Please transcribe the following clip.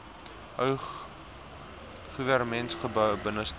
ou goewermentsgebou binnestap